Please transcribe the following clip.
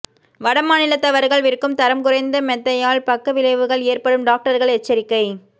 வடமாநிலத்தவர்கள் விற்கும் தரம் குறைந்த மெத்தையால் பக்க விளைவுகள் ஏற்படும் டாக்டர்கள் எச்சரிக்கை